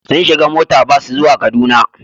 Sun shiga mota bas zuwa Kaduna.